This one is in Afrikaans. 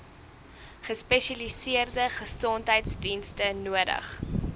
gespesialiseerde gesondheidsdienste nodig